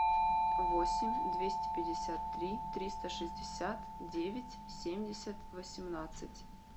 восемь двести пятьдесят три триста шестьдесят девять семьдесят восемнадцать